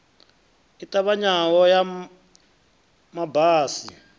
i ṱavhanyaho ya ma basi